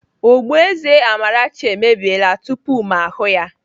Ogboeze Amarachi e mebiela tupu ma ahụ ya